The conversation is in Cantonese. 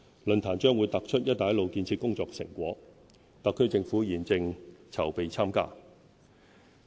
論壇將突出"一帶一路"建設工作的成果，特區政府現正籌備參加。